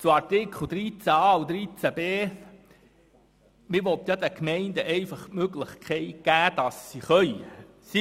Noch zu den Artikeln 13a und 13b: Man will den Gemeinden einfach die Möglichkeit geben, aber ohne sie dazu zu verpflichten.